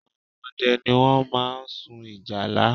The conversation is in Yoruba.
Àwọn ọdẹ ni wọ́n máa ń sun ìjálá